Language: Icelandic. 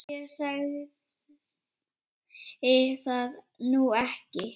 Ég sagði það nú ekki